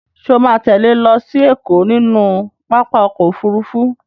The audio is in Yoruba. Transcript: Ṣo ma tẹ́lẹ̀ lọ sí Ẹ̀kọ́ nínú pápá ọkọ̀ Òfurufú?